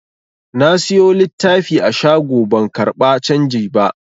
Na siyo littafi a shago ban karɓa canji ba.